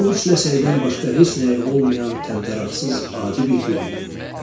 Bu üç ləçəkdən başqa heç nəyi olmayan təmtəraqsız, adi bir gül idi.